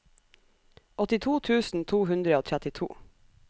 åttito tusen to hundre og trettito